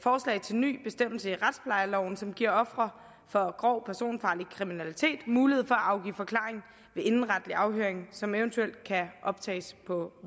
en ny bestemmelse i retsplejeloven som giver ofre for grov personfarlig kriminalitet mulighed for at afgive forklaring ved indenretlig afhøring som eventuelt kan optages på